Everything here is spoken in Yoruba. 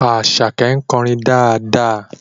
Àṣàkẹ́ ń kọrin dáadáa